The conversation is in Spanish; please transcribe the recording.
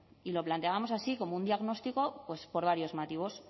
y lo planteábamos así como un diagnóstico por varios motivos